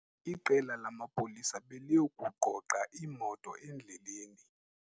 Iqela lamapolisa beliye kugqogqa iimoto endleleni.